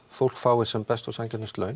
fólk fái sem best laun